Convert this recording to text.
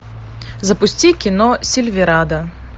запусти кино сильверада